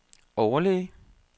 overlæge